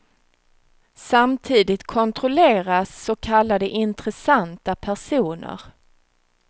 Samtidigt kontrolleras så kallade intressanta personer.